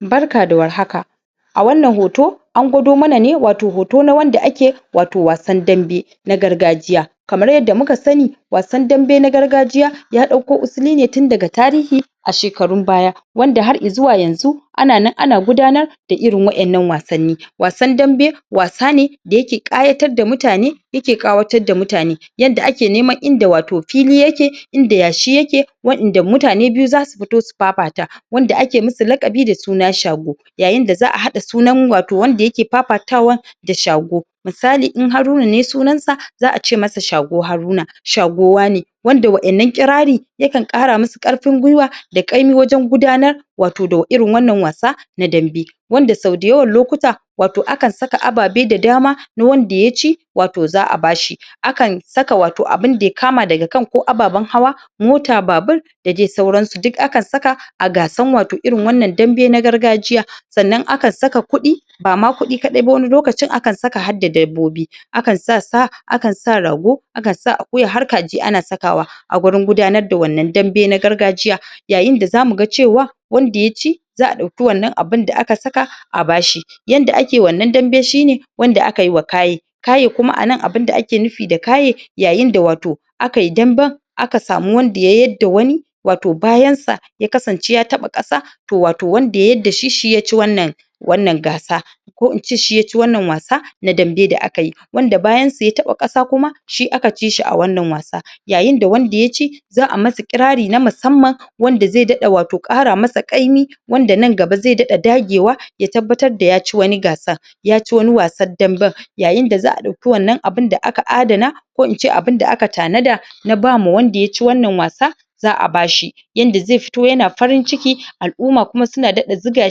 Barka da warhaka a wannan hoto an gwado mana ne watau wasan dambe na gargajiya kamar yadda muka sani wasan dambe na gargajiya ya ɗauko usuli ne tun daga tarihi a shekarun baya wanda har i zuwa yanzu ana nan ana gudanar da irin wa'innan wasanni wasan dambe wasa ne da yake ƙayatar da mutane yake ƙayatar da mutane yanda ake neman inda watau fiki yake inda yashi yake wa; inda mutane biyu zasu fito su fafata wanda ake musu laƙabi da suna Shago yayin da za a haɗa sunan watau wanda yake fafatawan da shago misali in Haruna ne sunan sa za a ce masa shago Haruna, shago wane wanda wa'innan kirari yakan ƙara musu ƙarfin gwiwa da ƙaimi wajen gudanar watau da irin wanna wasa na dambe wanda sau dayawan lokuta watau akan saka ababe da dama na wanda ya ci watau za a bashi akan saka watau abunda ya kama daga ka ko ababen hawa mota, babur da dai sauransu. duk akan saka a gasan watau irin wannan dambe na gargajiya Sannan akan saka kuɗi ba ma kuɗi kaɗai ba wani lokacin akan saka har da dabbobi akan sa sa, akan sa rago, akan sa akuya har kaji ana sakawa a gurin gudanar da wannan dambe na gargajiya yayin da zamu ga cewa wanda yaci za a ɗauki wannan abunda aka saka a bashi yanda ake wannan dambe shine wanda aka yi wa kaye kaye kuma a nan abunda ake nufi da kaye yayi da watau aka yi damben aka samu wanda ya yar da wani watau bayan sa ya kasance ya taɓa ƙasa to watau wanda ya yar da shi shi ya ci wannan wannan gasa ko ince shi yaci wannan wasa Na dambe da aka yi wanda bayan sa ya taɓa ƙasa kuma shi aka ci shi a wannan wasa yayin da wanda ya ci za a masa kirari na musamman wanda zai daɗa watau ƙara masa ƙaimi wanda nan gaba ai daɗa dagewa ya tabbatar da ya ci wani gasan yaci wani wasan damben ko ince abunda aka tanada na dama wanda ya ci wannan wasa za a bashi yanda zai fito yana farin ciki al'umma kuma suna daɗa zuga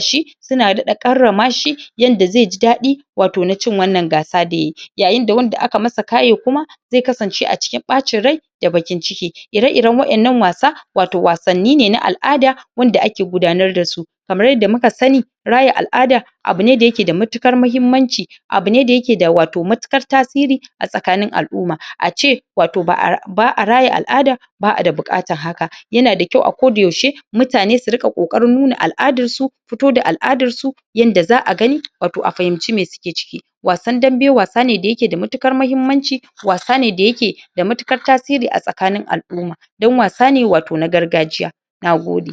shi kuna daɗa karrama shi yanda zai ji daɗi watau na cin wannan gasa da yayi. yayin da wanda aka masa kaye kuma zai kasance a cikin ɓacin rai da baƙin ciki. ire iren wa'innan wasa watau wasanni ne na al'ada wanda ake gudanar da su kamar yadda muka sani raya al'ada abu ne da yake da matuƙar mahimmanci abu ne da yake da watau matuƙar tasiri a tsakanin al'umma a ce watau ba a raya al'ada ba a da buƙatan haka. yana da kyau a ko da yaushe mutane su riƙa ƙoƙarin nuna al'adar su fito da al'adar su yanda za a gani watau a fahimi me suke ciki wasan dambe wasa ne da yake da matuƙar mahimmanci wasa ne wanda yake da matuƙar tasiri a tsakanin al'umma do =n wasa ne watau na gargajiya. Nagode.